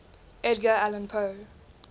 edgar allan poe